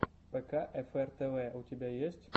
пэкаэфэр тэвэ у тебя есть